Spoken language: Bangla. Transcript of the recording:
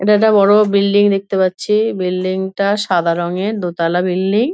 এটা একটা বড় বিল্ডিং দেখতে পাচ্ছি বিল্ডিং টা সাদা রঙের দোতলা বিল্ডিং ।